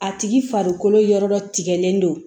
A tigi farikolo yɔrɔ dɔ tigɛlen don